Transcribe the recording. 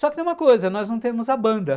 Só que tem uma coisa, nós não temos a banda.